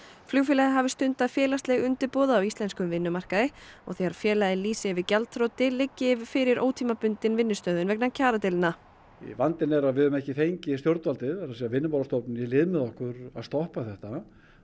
flugfélagið hafi stundað félagsleg undirboð á íslenskum vinnumarkaði og þegar félagið lýsi yfir gjaldþroti liggi fyrir ótímabundin vinnustöðvun vegna kjaradeilna vandinn er að við höfum ekki fengið stjórnvaldið það er að segja Vinnumálastofnun í lið með okkur að stoppa þetta